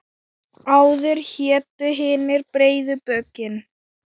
Áður hétu hinir breiðu bökin.